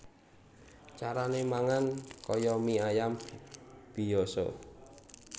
Carané mangan kaya mie ayam biyasa